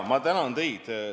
Ma tänan teid!